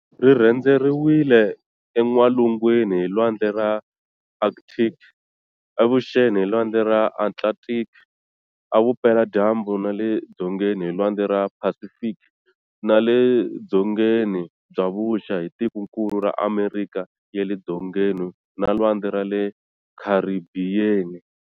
Rirhendzeriwe en'walungwini hi lwandle ra Arkthiki, evuxeni hi lwandle ra Atlanthiki, evupela dyambu na le dzongeni hi lwandle ra Phasifiki, nale dyongeni bya vuxa hi tikonkulu ra Amerikha ya le Dzongeni na lwandle ra le Kharibhiyeni.